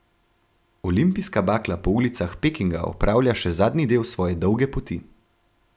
Olimpijska bakla po ulicah Pekinga opravlja še zadnji del svoje dolge poti.